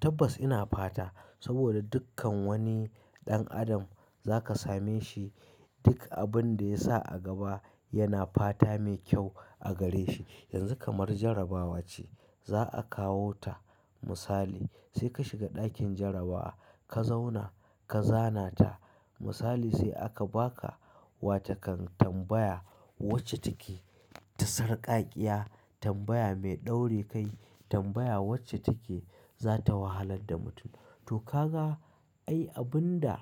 Tabbas ina fata saboda dukkan wani ɗan adam za ka same shi. Duk abin da ya sa a gaba yana fata mai kyau a gare shi. Yanzu kamar jarabawa ce. Za a kawo ta misali sai ka shiga ɗakin jarabawa, ka zauna ka zana ta misali sai aka ba ka wa takan tambaya wacce take ta sarƙaƙiya tambaya mai ɗorekai tambaya wacce take za ta wahalar da mutum. Toh kaga ai abunda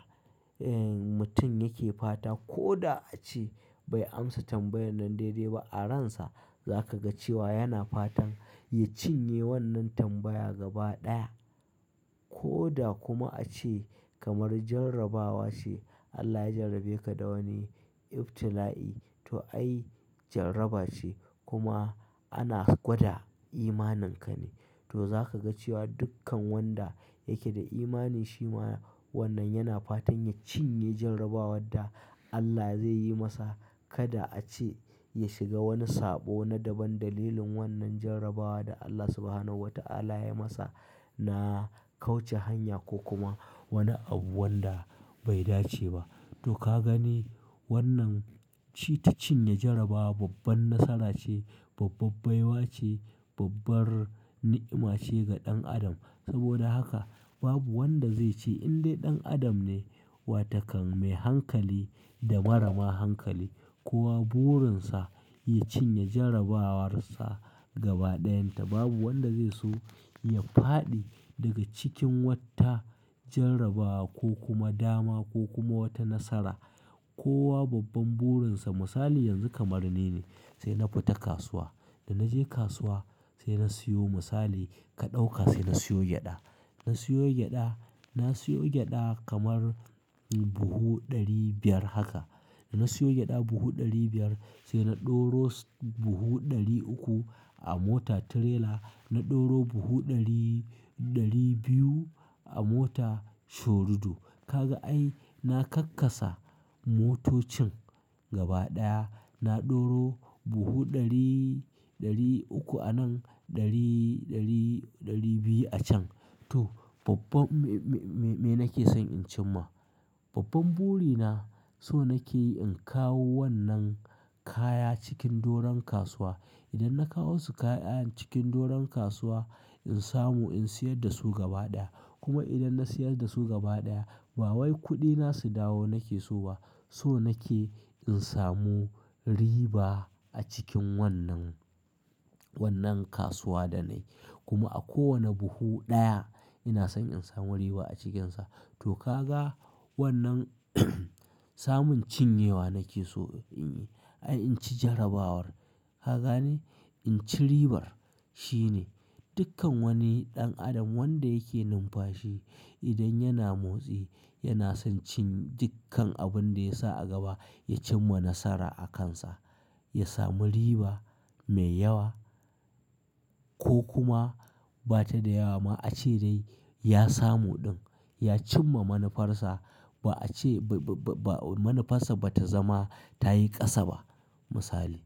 mutum yake fata ko da a ce bai amsa tambayan nan daidai ba a ransa za ka ga cewa yana fatan ya cinye wannan tambaya gaba ɗaya. Ko da kuma a ce kamar jarabawa ce Allah ya jarabe ka da wani ibtila'i to ai jaraba ce kuma ana gwada imaninka ne. Toh zaka ga cewa dukkan wanda yake da imani shima wannan yana fatan ya cinye jarabawar da Allah zaiyi masa. Kada a ce ya shiga wani sabo na daban dalilin wannan jarabawar da Allah Subhanahu wa Ta'ala ya yi masa na kauce hanya ko kuma wani abu wanda bai dace ba. To ka gani wannan ci ta cinye jaraba babban nasara ce, bababbaiwa ce, babbar ni'ima ce ga ɗan adam. Saboda haka babu wanda zai ce in dai ɗan adam ne wa takan mai hankali da marama hankali kowa burinsa ya cinye jarabawarsa gaba ɗayan ta babu wanda zai so ya fadi daga cikin wata jarabawa ko kuma dama ko kuma wata nasara. Kowa babban burinsa misali yanzu kamar nine ne sai na fita kasuwa. Da na je kasuwa sai na siyo misali ka ɗauka sai na siyo gyaɗa. Na siyo gyaɗa, na siyo gyaɗa kamar buhu ɗari biyar haka. Da na siyo gyaɗa buhu ɗari biyar sai na ɗoro buhu ɗari uku a mota tirela. Na ɗoro buhu ɗari, ɗari biyu a mota shorudu. Kaga ai na kakkasa moto cin gaba daya na ɗoro buhu ɗari, ɗari uku a nan ɗari, ɗari, ɗari biyu a can. To babban me nake son in cim ma? Babban buri na so nake in kawo wannan kaya cikin doron kasuwa. Idan na kawo su kaya cikin doron kasuwa in samu in siyar da su gaba ɗaya. Kuma idan na siyar da su gaba ɗaya ba wai kuɗina su dawo nake so ba so nake in samu riba a cikin wannan, wannan kasuwa da na yi. Kuma a kowane buhu ɗaya ina son in samu riba a cikinsa. Toh kaga wannan samun cinye wa nake so ai in ci jarabawar ka gane in ci ribar shine. Duk kan wani dan adam wanda yake numfashi idan yana motsi, yanason cin ye duk kan abunda yasa a gaba ya cim ma nasara akan sa, yasamu riba me yawa ko kuma bata da yawa a ce dai ya samu din. Ya cim ma manufarsa ba a ce ba, ba, ba manufarsa ba ta zama ta yi ƙasa ba misali.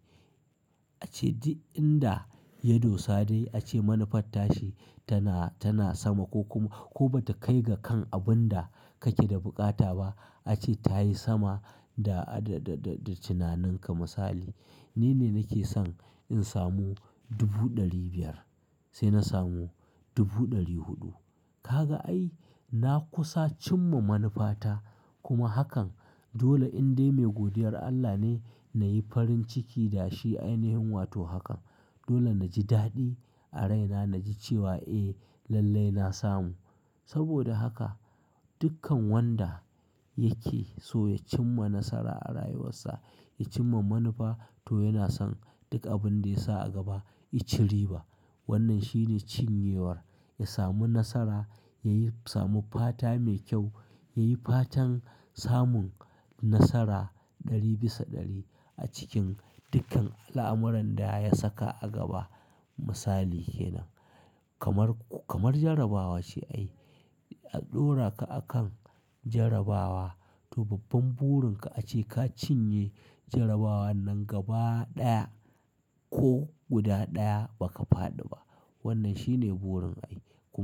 A ce duk in da ya dosa dai a ce manufar tashi tana, tana sama ko kuma ko ba ta kai ga kan abin da kake da buƙata ba. A ce ta yi sama da, da, da, da, da tunaninka misali. Nine nake son in samu dubu ɗari biyar sai na samu dubu ɗari huɗu. Ka ga ai na kusa cin ma manufa ta kuma hakan dole in dai mai godiyar Allah ne na yi farin ciki da shi. Ainihin wato hakan. Dole na ji daɗi a raina na ji cewa "Eh lallai na samu." Saboda haka dukkan wanda yake so ya cim ma nasara a rayuwarsa, ya cim ma manufa to yana son duk abin da ya sa a gaba i ci riba. Wannan shine cinye war. Ya samu nasara, ya samu fata me kyau, yayi fatan samun nasara dari bisa dari a cikin duk kan alamuran daya saka a gaba. Misali kenan. Kamar, kamar jarabawa ce ai a ɗora ka a kan jarabawa to babban burin ka a ce ka cinye jarabawar nan gaba ɗaya ko guda ɗaya ba ka fadi ba. Wannan shine burin ai kuma.